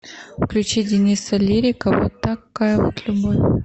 включи дениса лирика вот такая вот любовь